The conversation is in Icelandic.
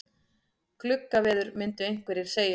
Gluggaveður myndu einhverjir segja.